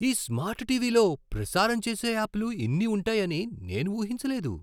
ఈ స్మార్ట్ టీవీలో ప్రసారం చేసే యాప్లు ఇన్ని ఉంటాయని నేను ఊహించలేదు!